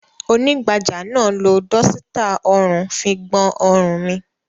Onígbàjamọ̀ náà lo dọ́sítà ọrùn fi gbọn ọrùn mi.